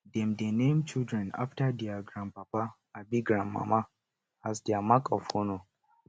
dem dey name children after dier grandpapa abi grandmama as di mark of honour